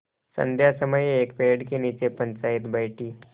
संध्या समय एक पेड़ के नीचे पंचायत बैठी